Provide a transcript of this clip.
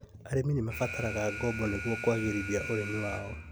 Arĩmi nĩmarabatara ngombo nĩguo kwagĩrithia ũrĩmi wao